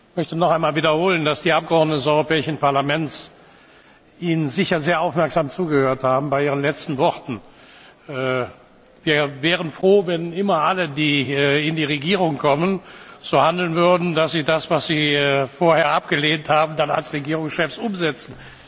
Ich darf noch einmal wiederholen, dass die Abgeordneten des Europäischen Parlaments Ihnen sicher sehr aufmerksam zugehört haben bei Ihren letzten Worten. Wir wären froh, wenn immer alle, die an die Regierung kommen, so handeln würden, dass sie das, was sie vorher abgelehnt haben, dann als Regierungschefs umsetzen.